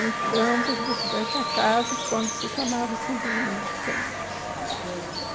Em Campos dos Goitacazes, quando se chamava simplesmente Campos. Campos.